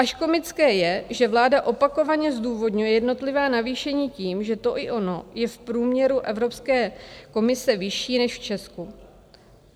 Až komické je, že vláda opakovaně zdůvodňuje jednotlivá navýšení tím, že to i ono je v průměru Evropské unie vyšší než v Česku.